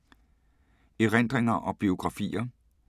Erindringer og biografier